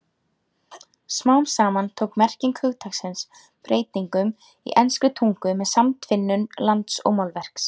Smám saman tók merking hugtaksins breytingum í enskri tungu með samtvinnun lands og málverks.